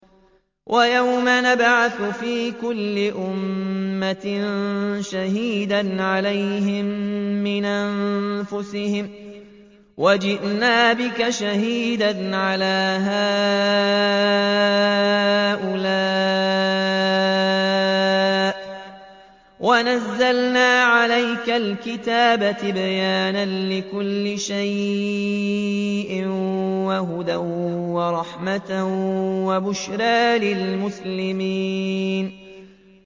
وَيَوْمَ نَبْعَثُ فِي كُلِّ أُمَّةٍ شَهِيدًا عَلَيْهِم مِّنْ أَنفُسِهِمْ ۖ وَجِئْنَا بِكَ شَهِيدًا عَلَىٰ هَٰؤُلَاءِ ۚ وَنَزَّلْنَا عَلَيْكَ الْكِتَابَ تِبْيَانًا لِّكُلِّ شَيْءٍ وَهُدًى وَرَحْمَةً وَبُشْرَىٰ لِلْمُسْلِمِينَ